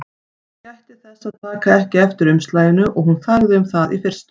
Hann gætti þess að taka ekki eftir umslaginu og hún þagði um það í fyrstu.